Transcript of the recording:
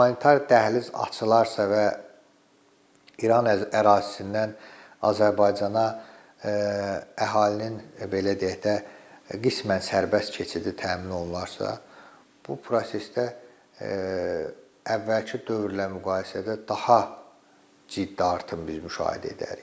Humanitar dəhliz açılarsa və İran ərazisindən Azərbaycana əhalinin belə deyək də, qismən sərbəst keçidi təmin olunarsa, bu prosesdə əvvəlki dövrlə müqayisədə daha ciddi artım biz müşahidə edərik.